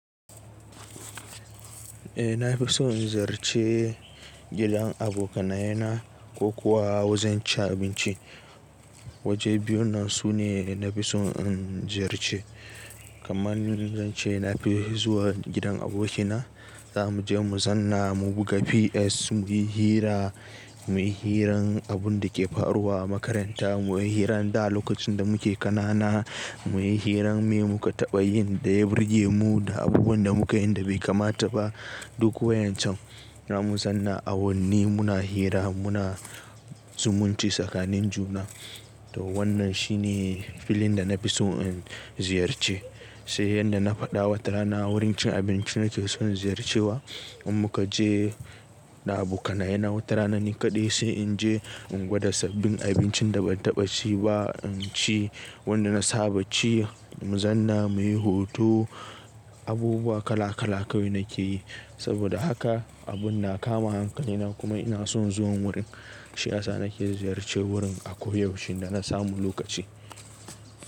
Eh na fi so in ziyarci gidan abokanaye na ko kuwa wajen cin abinci. Waje biyu nan su ne na fi so in ziyarci. Kamanni zan ce na fi zuwa gidan aboki na. Za mu je mu zanna, mu buga PS, mu yi hira, mu yi hirar abunda ke faruwa a makaranta, mu yi hirar da lokacin da muke kanana, mu yi hirar me muka taɓa yin da ya burge mu da abubuwan da muka yi da bai kamata ba. Duk wayancan za mu zanna a wanni muna hira muna zumunci tsakanin juna. To wannan shi ne filin da na fi so in ziyarci. Sai yadda na faɗawa watara na wurin cin abinci nake son ziyarcewa. In muka je da abokanaye na wata rana ni kaɗai sai in je in gwada sabbin abincin da ban taɓa ci ba in ci. Wanda na saba ci mu zanna muyi hoto. Abubuwa kala kala kawai nake yi. Saboda haka abun na kama hankalina kuma ina son zuwan wurin. Shi yasa sake ziyarce wurin a koyaushe idan na samu lokaci.